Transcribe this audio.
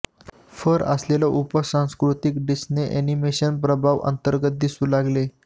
fur असलेला उपसंस्कृती Disney animation प्रभाव अंतर्गत दिसू लागले